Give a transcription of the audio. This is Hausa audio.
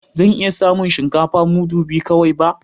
Zan iya samun shinkafa mudu biyu kawai ba